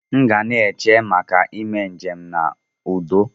Mu gana eche maka ime njem na udo.